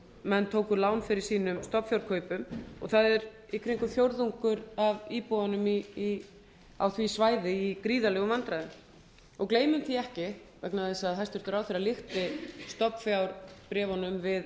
menn tóku lán fyrir sínum stofnfjárkaupum og það er í kringum fjórðungur af íbúunum á því svæði í gríðarlegum vandræðum gleymum því ekki vegna þess að hæstvirtur ráðherra líkti stofnfjárbréfunum við